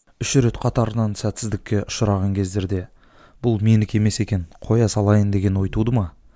үш рет қатарынан сәтсіздікке ұшыраған кездерде бұл менікі емес екен коя салайын деген ой туды ма